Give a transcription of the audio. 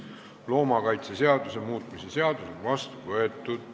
Loomakaitseseaduse muutmise seadus on vastu võetud.